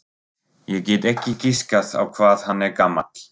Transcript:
Ég get ekki giskað á hvað hann er gamall.